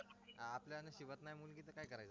आपल्या नशिबात नाही मुली तर काय करायचं